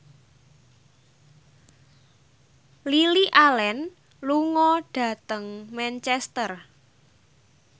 Lily Allen lunga dhateng Manchester